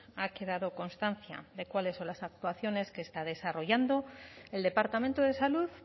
ha quedado constancia de cuáles son las actuaciones que está desarrollando el departamento de salud